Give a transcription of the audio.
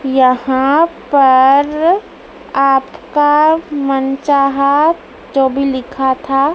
यहाँ पर आपका मनचाहा जोभी लिखा था--